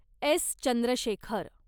S. Chandrashekhar